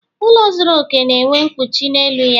Ụlọ zuru okè na-enwe mkpuchi n'elu ya